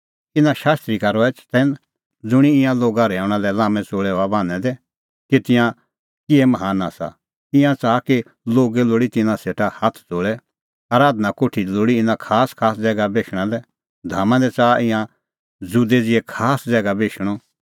इना शास्त्री का रहै चतैन ज़ुंणी ईंयां लोगा रहैऊंणा लै लाम्मै च़ोल़ै हआ बान्हैं दै कि तिंयां किहै महान आसा ईंयां च़ाहा कि लोगै लोल़ी तिन्नां सेटा हाथ ज़ोल़ै आराधना कोठी दी लोल़ी इना खासखास ज़ैगा बेशणा लै धामा दी च़ाहा तिंयां ज़ुदै ज़िहै खास ज़ैगा बेशणअ